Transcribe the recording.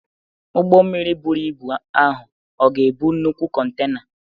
Ụgbọ mmiri buru ibu ahụ ọ̀ ga-ebu nnukwu kontena?